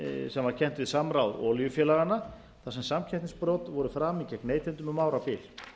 sem kennt var við samráð olíufélaganna þar sem samkeppnisbrot voru framin gegn neytendum um árabil